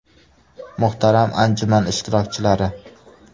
Muhtaram anjuman ishtirokchilari!